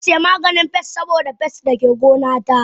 Zansiya maganin pest saboda pest dake gona ta.